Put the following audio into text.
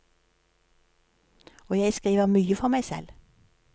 Og jeg skriver mye for meg selv.